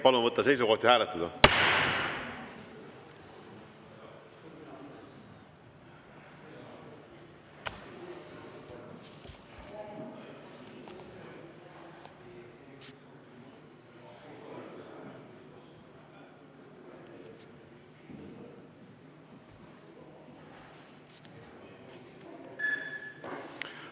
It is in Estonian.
Palun võtta seisukoht ja hääletada!